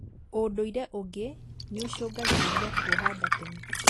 ũndũire ũngĩ nĩũcũngagĩrĩria kwoha nda tene